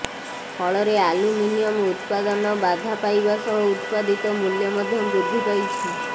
ଫଳରେ ଆଲୁମିନିୟମ ଉତ୍ପାଦନ ବାଧା ପାଇବା ସହ ଉତ୍ପାଦିତ ମୂଲ୍ୟ ମଧ୍ୟ ବୃଦ୍ଧି ପାଇଛି